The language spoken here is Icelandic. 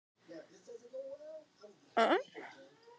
Lára: Björn Ingi, hvers vegna ertu að hætta?